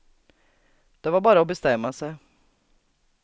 Det var bara att bestämma sig.